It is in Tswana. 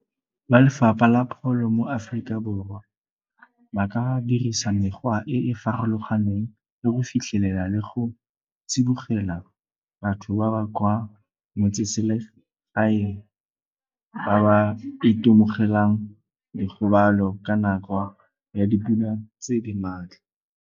Ba lefapha la pholo mo Aforika Borwa ba ka dirisa mekgwa e e farologaneng le go fitlhelela le go tsibogela batho ba ba kwa motseselegaeng ba ba itemogelang dikgobalo ka nako ya dipula tse di maatla.